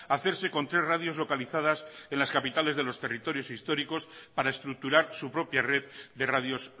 hacerse con tres radios localizadas en las capitales de los territorios históricos para estructurar su propia red de radios